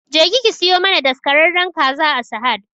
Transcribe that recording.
Jeki ki siyo mana daskararren kaza a sahad